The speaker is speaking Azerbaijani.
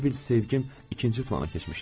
Elə bil sevgim ikinci plana keçmişdi.